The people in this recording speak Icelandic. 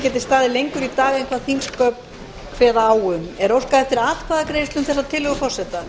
geti staðið lengur í dag en þingsköp kveða á um óskað er eftir atkvæðagreiðslu um tillögu forseta